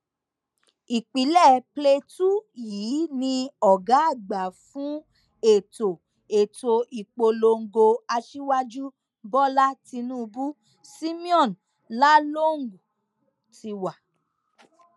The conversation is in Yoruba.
ìpínlẹ plateau yìí ni ọgá àgbà fún ètò ètò ìpolongo aṣíwájú bọlá tinubu simeon lalong ti wá